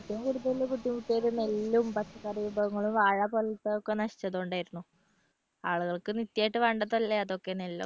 ഏറ്റവും കൂടുതൽ ബുദ്ധിമുട്ടിയത് നെല്ലും പച്ചക്കറി വിഭവങ്ങളും വാഴകുലച്ചതും ഒക്കെ നശിച്ചത് കൊണ്ടായിരുന്നു ആളുകൾക്ക് നിത്യായിട്ട് വേണ്ടതല്ലേ അതൊക്കെ നെല്ലൊക്കെ